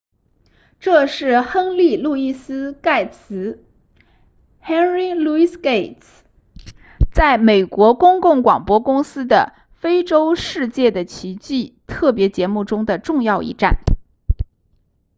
这是亨利路易斯盖茨 henry louis gates 在美国公共广播公司的非洲世界的奇迹特别节目中的重要一站